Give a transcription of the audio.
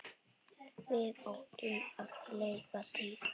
Við áttum að leika dýr.